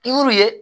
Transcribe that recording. I y'u ye